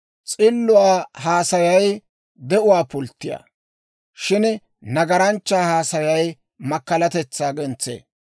S'illuwaa haasayay de'uwaa pulttiyaa; shin nagaranchchaa haasayay makkalatetsa gentsee.